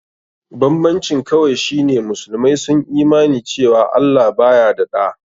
Banbancin kawai shi ne musulmai sun Imani cewa Allah baya da ɗa.